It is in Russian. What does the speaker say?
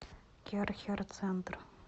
керхер центр